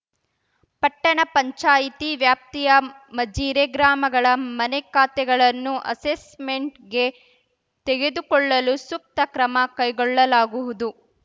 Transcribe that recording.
ಪಟ್ಟಣ ಪಂಚಾಯತ್ ವ್ಯಾಪ್ತಿಯ ಮಜಿರೆ ಗ್ರಾಮಗಳ ಮನೆ ಖಾತೆಗಳನ್ನು ಅಸೆಸ್‌ಮೆಂಟ್‌ಗೆ ತೆಗದುಕೊಳ್ಳಲು ಸೂಕ್ತ ಕ್ರಮ ಕೈಗೊಳ್ಳಲಾಗುವುದು